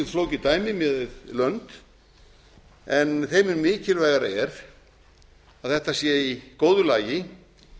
flókið dæmi miðað við lönd en þeim mun mikilvægara er að þetta sé í góðu lagi